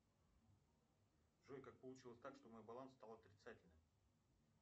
джой как получилось так что мой баланс стал отрицательным